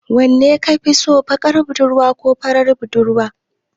Wanne kafi so, baƙar budurwa ko farar budurwa?